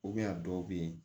a dɔw bɛ yen